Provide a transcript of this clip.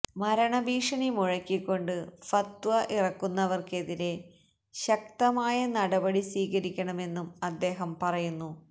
മരണ ഭീഷണി മുഴക്കിക്കൊണ്ട് ഫത്വ ഇറക്കുന്നവര്ക്കെതിരെ ശക്തമായ നടപടി സ്വീകരിക്കണമെന്നും അദ്ദേഹം പറയുന്നു